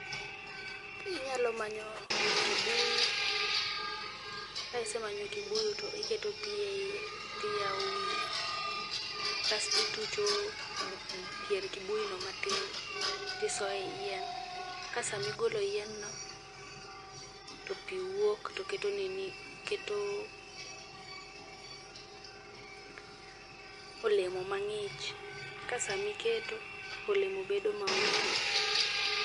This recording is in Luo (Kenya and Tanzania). Inyalo manyo kibuyu, ka isemanyo kibuyu to iketo pi eiye, tiyawo wiye kasto itucho pier kibuyu no matin. Tisoyo ei yien. Ka sama igolo yien no, to pi wuok to keto nini keto olemo mang'ich. Kasama iketo, olemo bedo maonge gi pi